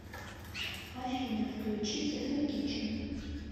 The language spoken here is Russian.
афина включи техно кичен